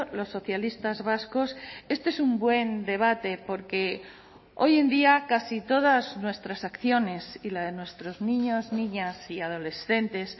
los socialistas vascos este es un buen debate porque hoy en día casi todas nuestras acciones y la de nuestros niños niñas y adolescentes